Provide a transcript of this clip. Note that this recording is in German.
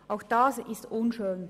Auch das ist unschön.